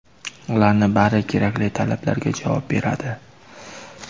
Ularning bari kerakli talablarga javob beradi.